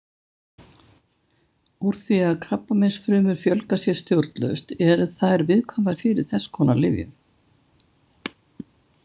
Úr því að krabbameinsfrumur fjölga sér stjórnlaust eru þær viðkvæmar fyrir þess konar lyfjum.